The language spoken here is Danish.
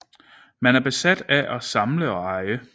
Man er besat af at samle og eje